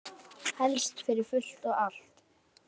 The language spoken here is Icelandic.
Helst fyrir fullt og allt.